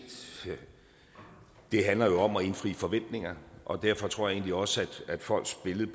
handler om at indfri forventninger og derfor tror jeg også at folks billede